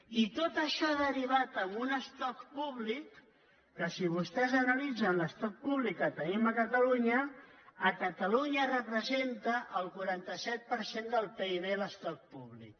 i tot això ha derivat en un estoc públic que si vostès analitzen l’estoc públic que tenim a catalunya a catalunya representa el quaranta set per cent del pib l’estoc públic